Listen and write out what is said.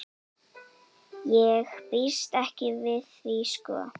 Ég býst ekki við því sko.